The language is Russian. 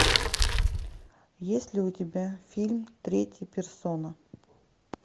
есть ли у тебя фильм третья персона